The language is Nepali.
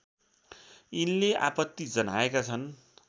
यिनले आपत्ति जनाएका छन्